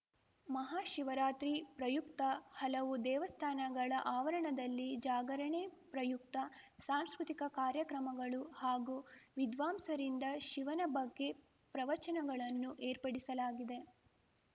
ಮಹಾಶಿವರಾತ್ರಿ ಪ್ರಯುಕ್ತ ಹಲವು ದೇವಸ್ಥಾನಗಳ ಆವರಣದಲ್ಲಿ ಜಾಗರಣೆ ಪ್ರಯುಕ್ತ ಸಾಂಸ್ಕೃತಿಕ ಕಾರ್ಯಕ್ರಮಗಳು ಹಾಗೂ ವಿದ್ವಾಂಸರಿಂದ ಶಿವನ ಬಗ್ಗೆ ಪ್ರವಚನಗಳನ್ನು ಏರ್ಪಡಿಸಲಾಗಿದೆ